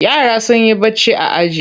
Yara sun yi barci a aji.